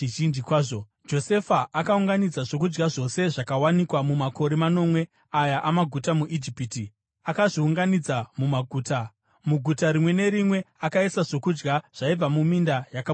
Josefa akaunganidza zvokudya zvose zvakawanikwa mumakore manomwe aya amaguta muIjipiti akazviunganidza mumaguta. Muguta rimwe nerimwe akaisa zvokudya zvaibva muminda yakapoteredza.